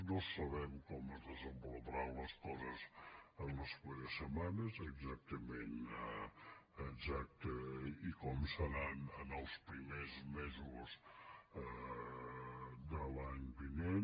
no sabem com es desenvoluparan les coses en les properes setmanes exactament i com seran en els primers mesos de l’any vinent